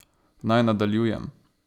Naj nadaljujem.